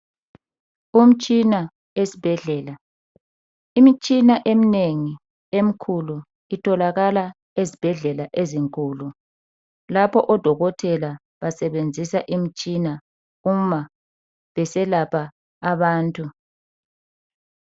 Umtshina esibhendlela imitshina eminengi emkhulu itholakala ezibhendlela ezinkulu lapho odokotela basebenzisa imtshina uma beselapha abantu.